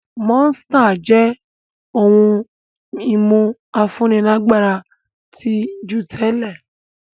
Monster jẹ́ ohun-ìmu afúnilágbára tí jù tẹ́lẹ̀.